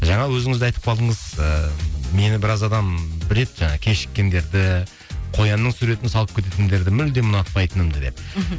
жаңа өзіңіз де айтып қалдыңыз ыыы мені біраз адам біледі жаңағы кешіккендерді қоянның суретін салып кететіндерді мүлдем ұнатпайтынымды деп мхм